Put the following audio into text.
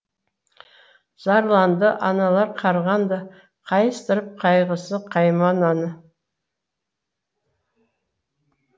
зарланды аналар қарғанды қайыстырып қайғысы қаймананы